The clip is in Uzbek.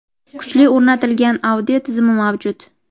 kuchli o‘rnatilgan audio tizimi mavjud.